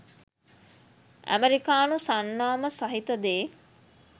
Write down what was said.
ඇමරිකානු සන්නාම සහිත දේ